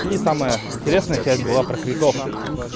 и самая интересная часть была про кретов